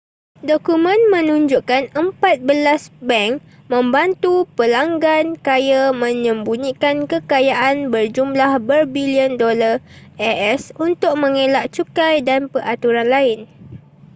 dokumen menunjukkan empat belas bank membantu pelanggan kaya menyembunyikan kekayaan berjumlah berbilion dolar as untuk mengelak cukai dan peraturan lain